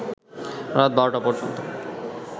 রাত ১২টা পর্যন্ত